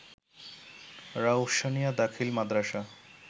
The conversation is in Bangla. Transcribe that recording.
রওশনিয়া দাখিল মাদ্রাসা